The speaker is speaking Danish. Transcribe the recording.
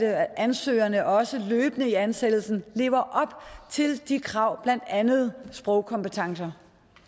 at ansøgerne også løbende i ansættelsen lever op til de krav blandt andet sprogkompetencer